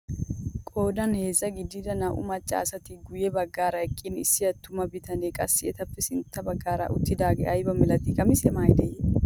Qoodan heezzaa gididi naa"u macca asati guye baggaara eqqin issi attuma bitanee qassi etappe sintta baggaara uttidagee ayba milatiyaa qamisiyaa maayidee?